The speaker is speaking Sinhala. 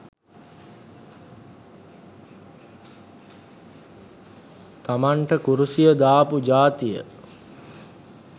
තමන්ට කුරුසිය දාපු ජාතිය